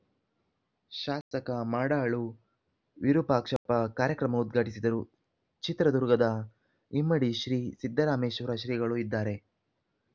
ಶಾಸಕ ಮಾಡಾಳು ವಿರೂಪಾಕ್ಷಪ್ಪ ಕಾರ್ಯಕ್ರಮ ಉದ್ಘಾಟಿಸಿದರು ಚಿತ್ರದುರ್ಗ ಇಮ್ಮಡಿ ಶ್ರೀ ಸಿದ್ದರಾಮೇಶ್ವರ ಶ್ರೀಗಳು ಇದ್ದಾರೆ